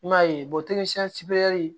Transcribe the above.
I m'a ye